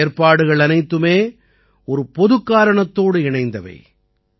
இந்த ஏற்பாடுகள் அனைத்துமே ஒரு பொதுக் காரணத்தோடு இணைந்தவை